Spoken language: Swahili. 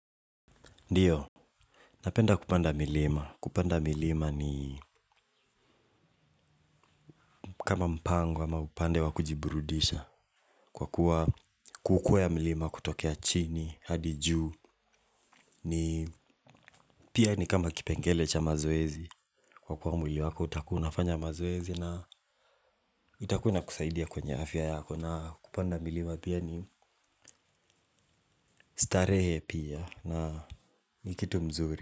Ndiyo, napenda kupanda milima. Kupanda milima ni kama mpango ama hupande wa kujiburudisha. Kwa kuwa kukwea milima kutokea chini, hadi juu, ni pia ni kama kipengele cha mazoezi. Kwa kuwa mwili wako utakuwa unafanya mazoezi, na itakuwa inakusaidia kwenye afya yako. Na kupanda milima pia ni, starehe pia, na ni kitu mzuri.